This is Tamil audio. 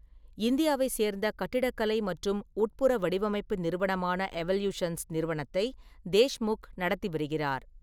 இந்தியாவை சேர்ந்த கட்டிடக்கலை மற்றும் உட்புற வடிவமைப்பு நிறுவனமான எவல்யூஷன்ஸ் நிறுவனத்தை தேஷ்முக் நடத்தி வருகிறார்.